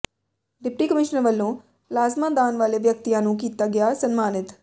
deputy commissioner plasma ਪਲਾਜ਼ਮਾ ਦਾਨ ਵਾਲੇ ਵਿਅਕਤੀਆਂ ਨੂੰ ਕੀਤਾ ਗਿਆ ਸਨਮਾਨਿਤ